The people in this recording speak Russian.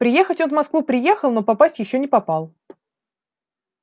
приехать он в москву приехал но попасть ещё не попал